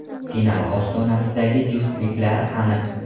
Final ostonasidagi juftliklar aniq.